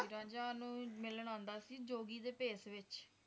ਰਾਂਝਾ ਓਹਨੂੰ ਮਿਲਣ ਆਂਦਾ ਸੀ ਜੋਗੀ ਦੇ ਭੇਸ ਵਿਚ